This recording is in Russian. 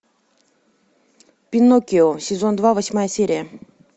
пиноккио сезон два восьмая серия